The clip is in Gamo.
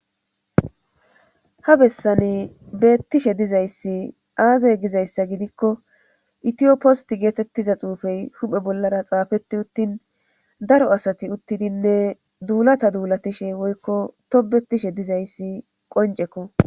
Ha bessani beetishe dizayssi aaze gizayssa gidikko ithiyo post giza xuufe huphe sar xaafeti utin daro asati uttidinne dulata dulatishin woykko tobetishe dizayssi qonccekko